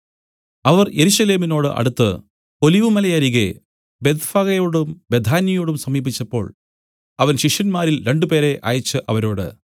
അവർ യെരൂശലേമിനോട് അടുത്ത് ഒലിവുമലയരികെ ബേത്ത്ഫഗയോടു ബേഥാന്യയോടും സമീപിച്ചപ്പോൾ അവൻ ശിഷ്യന്മാരിൽ രണ്ടുപേരെ അയച്ച് അവരോട്